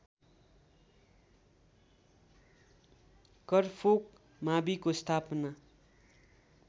करफोक माविको स्थापना